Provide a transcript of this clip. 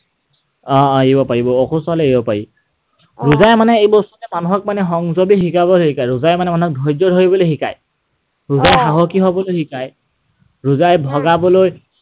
অ এৰিব পাৰিব। অসুস্থ হলে এৰিব পাৰি। ৰোজাই মানে এই বস্তুটোৱে মানে মানুহক সংযমী হবলৈ শিকায়। ৰোজাই মানে মানুহক ধৈৰ্য্য ধৰিবলৈ শিকায়। ৰোজাই সাহসী হবলৈ শিকায়। ৰোজাই ভগাবলৈ আ